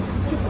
Ay oğul, ay.